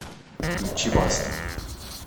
включи баста